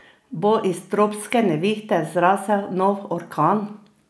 Bo iz tropske nevihte zrasel nov orkan?